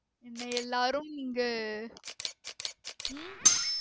என்ன எல்லாரும் இங்கு உம்